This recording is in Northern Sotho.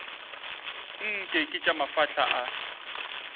nke ke tša mafahla a